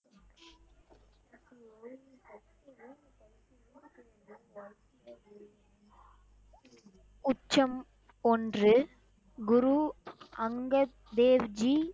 குற்றம் ஒன்று குரு அங்கத் தேவ் ஜி